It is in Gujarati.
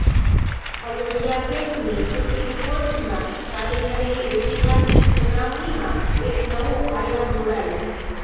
અયોધ્યા કેસની સુપ્રીમ કોર્ટમાં ચાલી રહેલી ઐતિહાસીક સુનાવણીમાં એક નવો આયામ જોડાયો